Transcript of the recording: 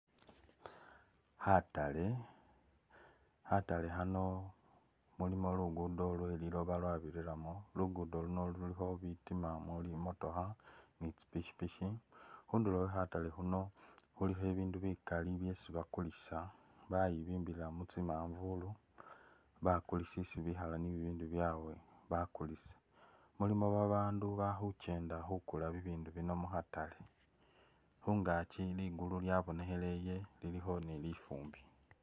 Khatale, khatale khano mulimo lugudo lwe’liloba lwa’birilamo , lugudo luno lulikho bitima muli imotoka ni’tsipikipiki, khunduro khwe khatale khano khulikho ibindu bikali byesi bakulisa bayibimbilila mu tsi’manvulu bakulisi isi bikhala ni bibindu byawe bakulisa , mulimo babandu bakhukyenda khukula bibindu bino mukhatale ,khungakyi ligulu lyabonekheleye lilikho ni lifumbi.